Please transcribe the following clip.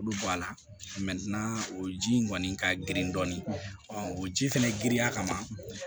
Olu bɔ a la o ji in kɔni ka girin dɔɔnin o ji fɛnɛ giriya kama